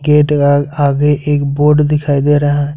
Gate का आगे एक बोर्ड दिखाई दे रहा है।